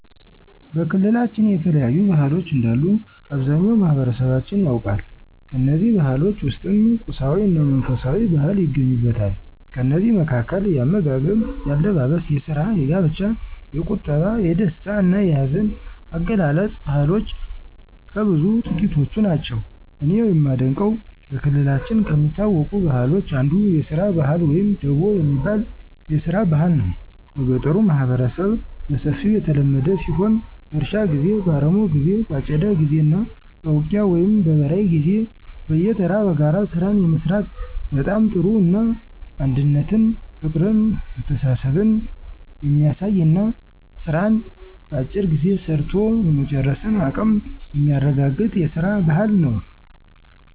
በክልላችን የተለያዩ ባህሎች እንዳሉ አብዛኛው ማህበረሠባችን ያውቃል። ከእነዚህ ባህሎች ውስጥም ቁሳዊ እና መንፈሳዊ ባህል ይገኙበታል። ከእነዚህ መካከል፦ የአመጋገብ፣ የአለባበስ፣ የስራ፣ የጋብቻ፣ የቁጠባ፣ የደስታ እና የሀዘን አገላለፅ ባህልሎች ከብዙ ጥቂቶቹ ናቸው። እኔ የማደንቀው በክልላችን ከሚታወቁ ባህሎች አንዱ የስራ ባህል ወይም ደቦ የሚባል የስራ ባህል ነው። በገጠሩ ማህበረሠብ በሰፊው የተለመደ ሲሆን በእርሻ ጊዜ፣ በአረሞ ጊዜ በአጨዳ ጊዜ እና በውቂያ ወይም በበራይ ጊዜ በየተራ በጋራ ስራን የመስራት በጣም ጥሩ እና አንድነትን ፍቅርን መተሳሠብን የሚያሳይ እና ስራን በአጭር ጊዜ ሰርቶ የመጨረስን አቀም የሚያረጋገጥ የስራን ባህል ነው።